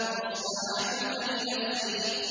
وَاصْطَنَعْتُكَ لِنَفْسِي